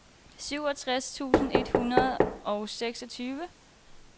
syvogtres tusind et hundrede og seksogtyve